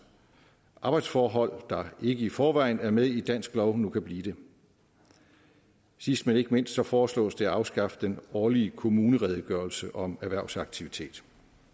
arbejdsforhold der ikke i forvejen er med i dansk lov nu kan blive det sidst men ikke mindst så foreslås det at afskaffe den årlige kommuneredegørelse om erhvervsaktivitet